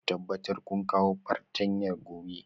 Ku tabbatar kun kawo fartanya gobe